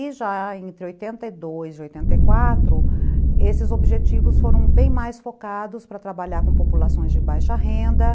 E já entre oitenta e dois e oitenta e quatro, esses objetivos foram bem mais focados para trabalhar com populações de baixa renda.